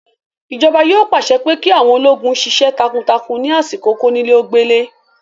Ìjọba yóò pàṣẹ pé kí àwọn ológun sisẹ́ takuntakun ní àsìkò kónílé-ó-gbélé